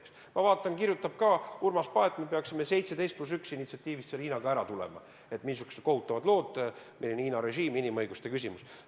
Ka Urmas Paet kirjutab, et me peaksime 17 + 1 initsiatiivi raames sõlmitud koostööst Hiinaga loobuma – et missugused kohutavad lood, milline Hiina režiim inimõiguste küsimuses.